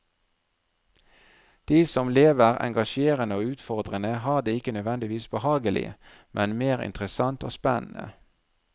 De som lever engasjerende og utfordrende har det ikke nødvendigvis behagelig, men mer interessant og spennende.